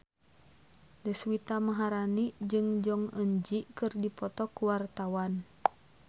Deswita Maharani jeung Jong Eun Ji keur dipoto ku wartawan